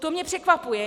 To mě překvapuje.